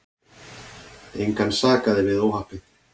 Engan sakaði við óhappið.